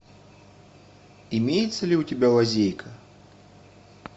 имеется ли у тебя лазейка